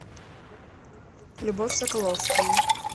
любовь соколовскую